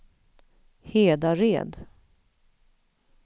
Hedared